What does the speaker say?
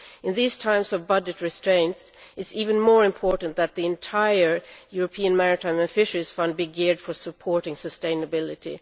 In these times of budget restraints it is even more important that the entire European Maritime and Fisheries Fund be geared for supporting sustainability.